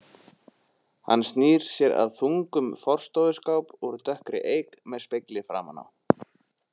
Hann snýr sér að þungum forstofuskáp úr dökkri eik með spegli framan á.